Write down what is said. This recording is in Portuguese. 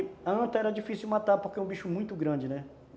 E anta era difícil de matar, porque era um bicho muito grande, né?